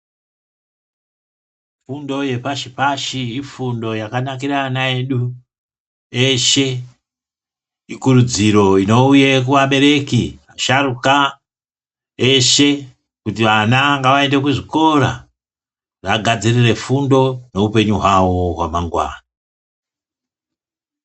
Fundo yepashi pashi ifundo yakanakira ana edu eshe, ikurudziro inouya kuabereki asharuka eshe Kuti vana ngavaende kuzvikora vagadzirire fundo neupenyu hwavo hwamangwana.